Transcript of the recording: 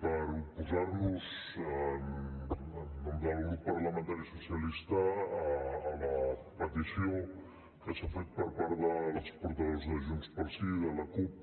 per oposar nos en nom del grup parlamentari socialista a la petició que s’ha fet per part dels portaveus de junts pel sí i de la cup